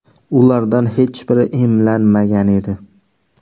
Ulardan hech biri emlanmagan edi.